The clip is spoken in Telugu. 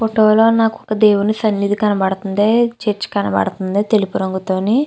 ఫోటో లో నాకు ఒక దేవుని సననిది కనబడుతుంది. చర్చి కనబడుతుంది తెలుపు రంగు లోని.